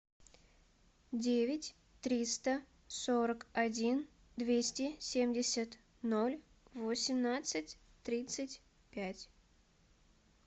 девять триста сорок один двести семьдесят ноль восемнадцать тридцать пять